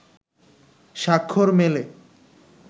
স্বাক্ষর মেলে